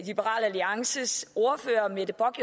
liberal alliances ordfører mette bock